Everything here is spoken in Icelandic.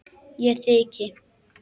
Ég þyki.